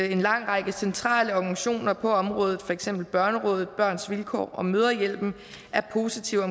at en lang række centrale organisationer på området for eksempel børnerådet børns vilkår og mødrehjælpen er positive i